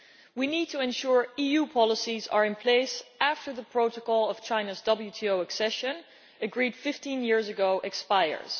We need to ensure EU policies are in place after the protocol of China's WTO accession, which was agreed to 15 years ago, expires.